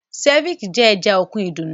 Ceviche jẹ́ ẹja òkun ìdùnnú